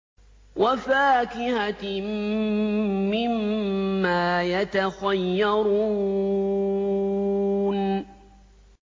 وَفَاكِهَةٍ مِّمَّا يَتَخَيَّرُونَ